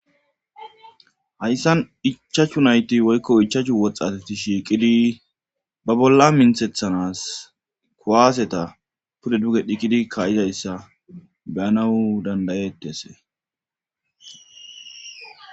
hayssan ichachu nayti woykko ichachu woxxatati shiiqidi ba bolla minthethanas kuwaaseta pude duge dhiqidi kayizayssa beyanawu dandayetese